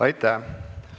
Aitäh!